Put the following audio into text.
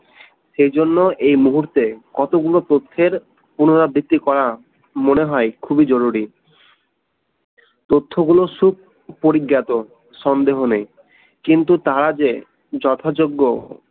সেজন্য এই মুহূর্তে কতগুলো পক্ষের পুনরাবৃত্তি করা মনে হয় খুবই জরুরী তথ্যগুলো খুব পরিজ্ঞাত সন্দেহ নেই কিন্তু তারা যে যথাযোগ্য